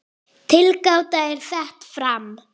Tilgáta er sett fram.